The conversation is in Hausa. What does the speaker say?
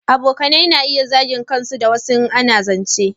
Abokanai na iya zagin kansu da wasa in ana zance